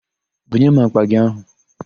Bunye m àkpà gị áhụ̀!